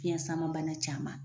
Fiɲɛsamabana caman.